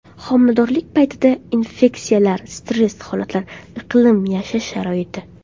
Homiladorlik paytidagi infeksiyalar, stress holatlar, iqlim, yashash sharoiti.